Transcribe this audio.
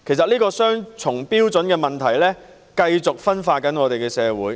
這個雙重標準繼續分化社會。